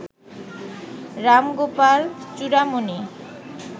Ramgopal Churamani